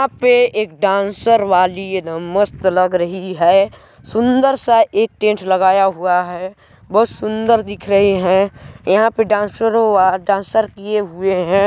यहाँ पे एक डांसर वाली एकदम मस्त लग रही है सुंदर सा एक टेंट लगाया हुआ है बहुत सुंदर दिख रहे हैं यहाँ पे डांसरों व डांसर किए हुए हैं।